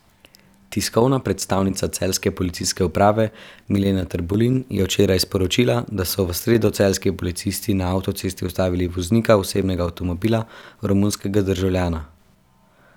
Tiskovna predstavnica celjske policijske uprave Milena Trbulin je včeraj sporočila, da so v sredo celjski policisti na avtocesti ustavili voznika osebnega avtomobila, romunskega državljana.